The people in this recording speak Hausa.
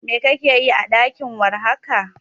Me kake yi a ɗaki war haka?